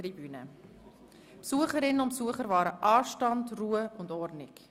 Die Besucherinnen und Besucher auf der Tribüne wahren Anstand, Ruhe und Ordnung.